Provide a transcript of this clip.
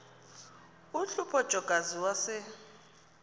uhlupho jokazi wase